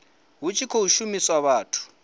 hu tshi khou shumiswa vhathu